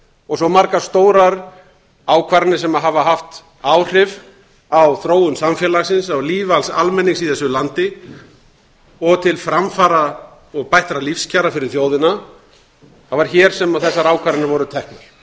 og svo margar stórar ákvarðanir sem hafa haft áhrif á þróun samfélagsins á líf alls almennings í þessu landi og til framfara og bættra lífskjara fyrir þjóðina það var hér sem þessar ákvarðanir voru teknar